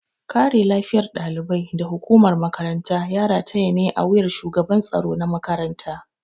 Kare lafiyar ɗalibai da hukumar makaranta ya rataya ne a wuyar shugaban tsaro na makaranta.